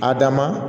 A dama